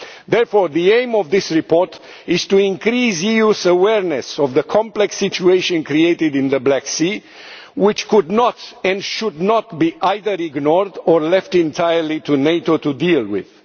Therefore, the aim of this report is to increase the EU's awareness of the complex situation created in the Black Sea, which could not and should not be either ignored or left entirely to NATO to deal with.